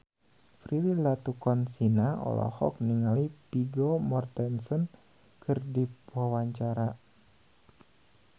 Prilly Latuconsina olohok ningali Vigo Mortensen keur diwawancara